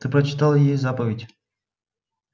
та прочитала ей заповедь